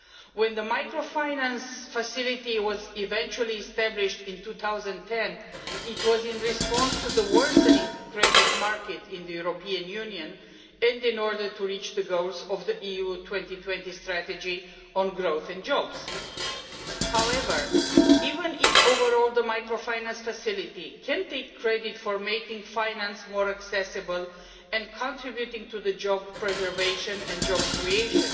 When the microfinance facility was eventually established in 2010, it was conceived in response to the worsening credit market in the European Union and in order to reach the goals of the EU 2020 strategy on growth and jobs. However, even if overall the microfinance facility can take credit for making finance more accessible and for contributing to job preservation and job creation,